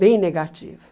Bem negativa.